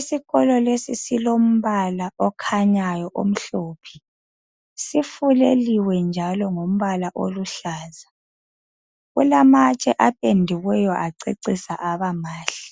Isikolo lesi silombala okhanyayo, omhlophe. Sifuleliwe njalo ngombala oluhlaza. Kulamatshe apendiweyo, acecisa, abamahle.